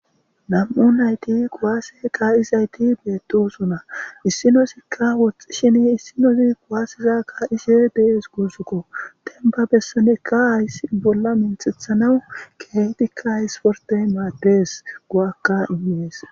nam7u nayti quwaase qa7izayti beedosuna issinosikka woxxishini issinosi kuwaasizakka ishe dees guuzukko tenba bessane ka ays bolla minthethanau keetikka isfortey maadees go7akka inmees